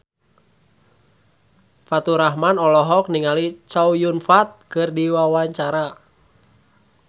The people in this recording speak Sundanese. Faturrahman olohok ningali Chow Yun Fat keur diwawancara